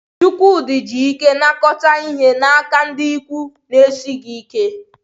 Chukwudi ji ike nakọta ihe n'aka ndị ikwu na-esighị ike